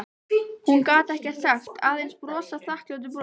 Hún gat ekkert sagt, aðeins brosað þakklátu brosi.